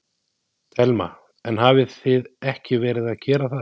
Telma: En hafið þið ekki verið að gera það?